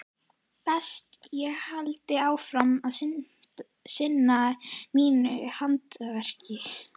Best ég haldi áfram að sinna mínu handverki.